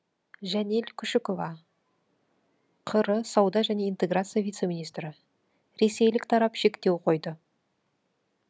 жәнел күшікова қазақстан республикасы сауда және интеграция вице министрі ресейлік тарап шектеу қойды